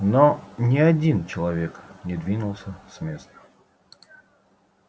но ни один человек не двинулся с места